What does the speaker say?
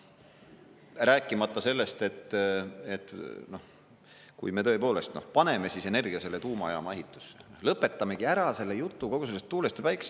Rääkimata sellest, et kui me tõepoolest paneme energia selle tuumajaama ehitusse, lõpetamegi ära selle jutu kogu sellest tuulest ja päikesest.